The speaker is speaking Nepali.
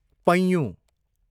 पैँयु